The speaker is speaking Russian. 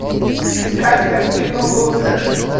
искать картину лузеры